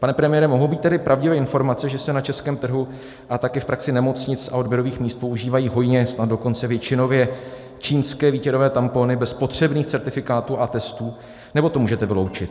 Pane premiére, mohou být tedy pravdivé informace, že se na českém trhu a také v praxi nemocnic a odběrových míst používají hojně, snad dokonce většinově čínské výtěrové tampony bez potřebných certifikátů a testů, nebo to můžete vyloučit?